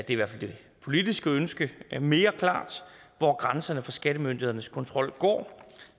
i hvert fald det politiske ønske mere klart hvor grænserne for skattemyndighedernes kontrol går